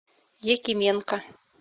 якименко